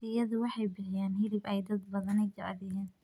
Riyadu waxay bixiyaan hilib ay dad badani jecel yihiin.